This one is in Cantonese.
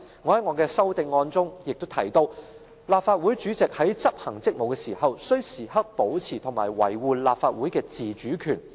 我在我的修正案中提到："立法會主席在執行職務時，須時刻保持和維護立法會的自主權。